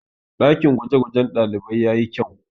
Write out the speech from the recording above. ɗakin gwagwajen ɗalibai ya yi kyau